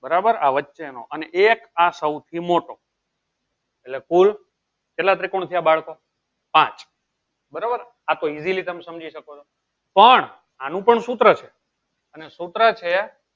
બરાબર આ વચ્ચેનો અને એક આ સૌથી મોટો એટલે કુલ કેટલા ત્રિકોણ થયા બાળકો પાંચ બરાબર આ તો easily તમે સમજી શકો છો પણ આનું પણ સૂત્ર છે અને સૂત્ર છે